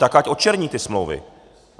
Tak ať odčerní ty smlouvy!